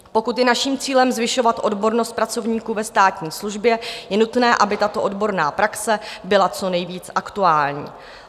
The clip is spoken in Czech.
Pokud je naším cílem zvyšovat odbornost pracovníků ve státní službě, je nutné, aby tato odborná praxe byla co nejvíce aktuální.